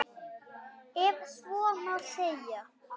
Ef svo má segja.